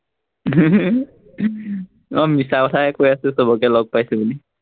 আহ মিছা কথাই কৈ আছো সৱকে লগ পাইছো বুলি।